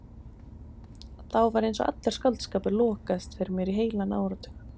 Þá var einsog allur skáldskapur lokaðist fyrir mér í heilan áratug.